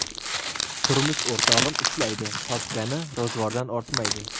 Turmush o‘rtog‘im ishlaydi, topgani ro‘zg‘ordan ortmaydi.